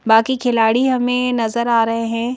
बाकी खिलाड़ी हमें नजर आ रहे हैं।